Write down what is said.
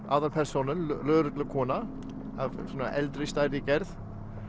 aðalpersónan lögreglukona af eldri stærri gerð